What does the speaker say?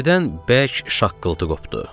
Birdən bərk şaqqıltı qopdu.